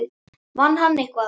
Vann hann eitthvað?